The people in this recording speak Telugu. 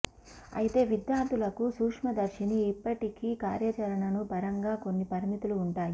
అయితే విద్యార్థులకు సూక్ష్మదర్శిని ఇప్పటికీ కార్యాచరణను పరంగా కొన్ని పరిమితులు ఉంటాయి